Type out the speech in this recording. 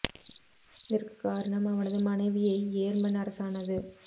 இதற்குக் காரணம் அவனது மனைவியை யேர்மன் அரசானது